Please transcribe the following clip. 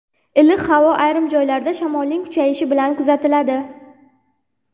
Iliq havo ayrim joylarda shamolning kuchayishi bilan kuzatiladi.